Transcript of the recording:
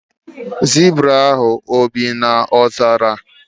Zibra ahụ e bi na ọzara?